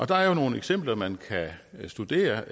der er jo nogle eksempler man kan studere